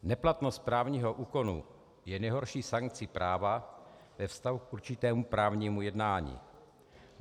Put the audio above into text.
Neplatnost právního úkonu je nejhorší sankcí práva ve vztahu k určitému právnímu jednání.